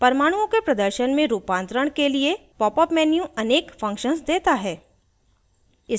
परमाणुओं के प्रदर्शन में रूपांतरण के लिए popup menu अनेक functions देता है